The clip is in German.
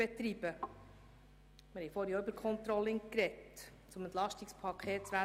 Wir haben vorhin im Zusammenhang mit dem EP 2018 auch über das Controlling gesprochen.